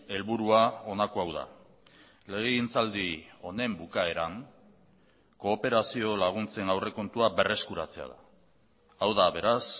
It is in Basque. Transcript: helburua honako hau da legegintzaldi honen bukaeran kooperazio laguntzen aurrekontua berreskuratzea da hau da beraz